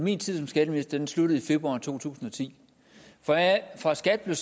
min tid som skatteminister sluttede i februar to tusind og ti fra skat blev